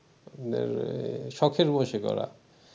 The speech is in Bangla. মানে শখের বশে করা